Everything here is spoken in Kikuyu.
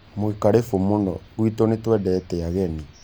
mwĩ karĩbũ mũno gwĩtũ nĩ twendete ageni